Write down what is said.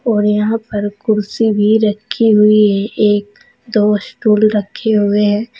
और यहां पर कुर्सी भी रखी हुई है एक दो स्कूल रखे हुए हैं।